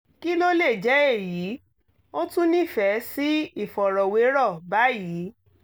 kí ló lè jẹ́ èyí? ó tún nífẹ̀ẹ́ sí ìfọ̀rọ̀wérọ́ báyìí